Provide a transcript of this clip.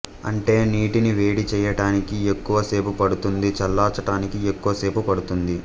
అంటే నీటిని వేడి చెయ్యటానికి ఎక్కువ సేపు పడుతుంది చల్లార్చటానికీ ఎక్కువ సేపు పడుతుంది